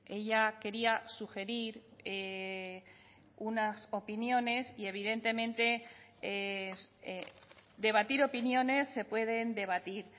ella quería sugerir unas opiniones y evidentemente debatir opiniones se pueden debatir